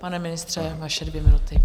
Pane ministře, vaše dvě minuty.